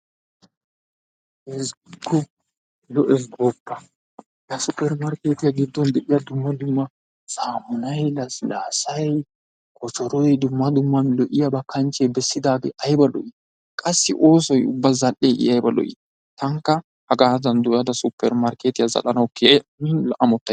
Ezziggikko lo"ees gooppa! Super excited giddon de'iya dumma dumma samunay, lassilaassay, koshshooroy dumma dumma lo'iyaba kanchche bessidaagee aybba lo"i, qassi oosoy zal'e I ubba ayba lo"i taanikka hagaadan dooyada super markkeetiya zal'anawu keehi ammotays.